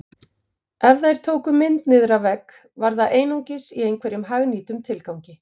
Ef þær tóku mynd niður af vegg var það einungis í einhverjum hagnýtum tilgangi